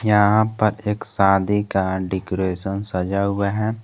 यहां पर एक शादी का डेकोरेशन सजा हुआ है।